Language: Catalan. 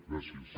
gràcies